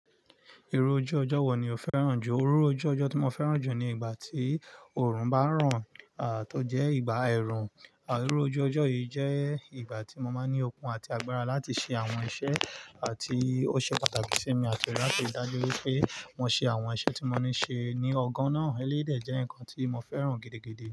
Irú ojú ọjọ́ wọ̀ ni o fẹ́ràn jù? Iru ojú ọjọ́ tí mo fẹ́ràn jù ni ìgbà tí òòrùn bá ràn, tó jẹ́ ìgbà ẹ̀rùn. À iru ojú ọjọ́ yìí jẹ́ ìgbà tí mo máa ní okun àti agbára láti ṣe àwọn iṣẹ́ ti ó ṣe pàtàkì sí mi àti lati rí dájú wípé mo ṣe àwọn iṣẹ́ tí mo ní ṣe ní ọgán náà. Eléyii dè jẹ́ nǹkan tí mo fẹ́ràn gidigidi.